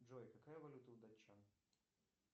джой какая валюта у датчан